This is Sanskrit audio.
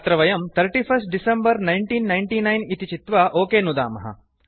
अत्र वयं 31 डेक 1999 इति चित्वा ओक नुदामः